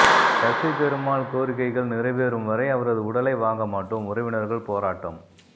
சசி பெருமாள் கோரிக்கை கள் நிறைவேறும் வரை அவரது உடலை வாங்க மாட்டோம் உறவினர்கள் போராட்டம்